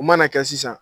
U mana kɛ sisan